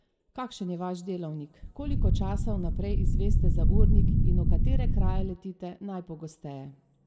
Kakšen je vaš delavnik, koliko časa vnaprej izveste za urnik in v katere kraje letite najpogosteje?